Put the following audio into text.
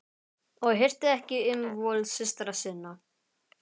Og hirti ekki um vol systra sinna.